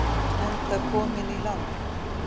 Enda kominn í land.